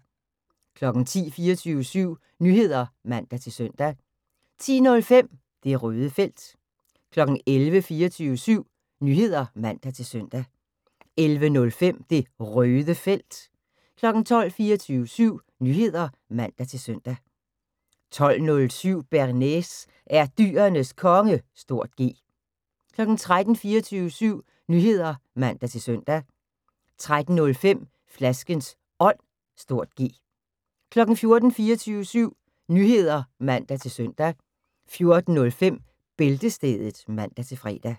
10:00: 24syv Nyheder (man-søn) 10:05: Det Røde Felt 11:00: 24syv Nyheder (man-søn) 11:05: Det Røde Felt 12:00: 24syv Nyheder (man-søn) 12:07: Bearnaise er Dyrenes Konge (G) 13:00: 24syv Nyheder (man-søn) 13:05: Flaskens Ånd (G) 14:00: 24syv Nyheder (man-søn) 14:05: Bæltestedet (man-fre)